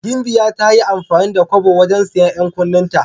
Gimbiya ta yi amfani da kobo wajen siyan 'yan kunnenta.